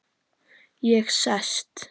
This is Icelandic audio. Ég sest.